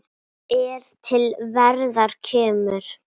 er til verðar kemur